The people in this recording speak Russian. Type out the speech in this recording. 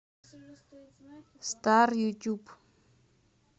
стар ютюб